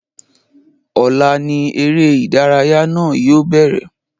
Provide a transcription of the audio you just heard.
Ọ̀la ní eré ìdárayá náà yóò bẹ̀rẹ̀